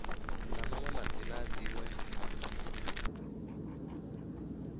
na maṅwe madzina a dziṅwe